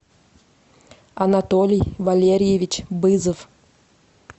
анатолий валерьевич бызов